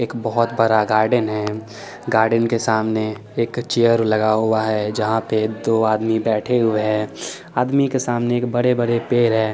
एक बहुत बड़ा गार्डन है गार्डन के सामने एक चेयर लगा हुआ है जहा पे दो आदमी बैठे हुए है के सामने बड़े बड़े पेड़ है।